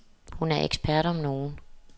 Hun er ekspert om nogen.